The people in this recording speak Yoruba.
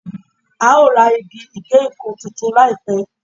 A o ra igi ìgéǹkan tuntun láìpẹ́.